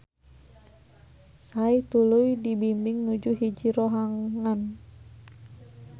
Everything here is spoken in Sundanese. Sai tuluy dibimbing nuju hiji rohangan.